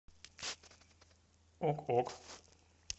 ок ок